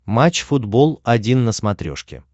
матч футбол один на смотрешке